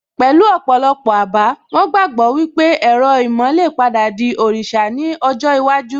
Pẹ̀lú ọ̀pọ̀ àbá, wón gbàgbọ́ wípé ẹ̀rọ ìmọ̀ lè padà di òrìṣà ní ọjọ́ iwájú